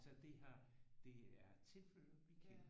Altså det har det er tilflyttere vi kender